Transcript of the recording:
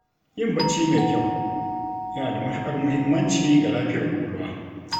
Yin bacci mai kyau yana da matukar muhimmanci ga lafiyar kwakwalwa.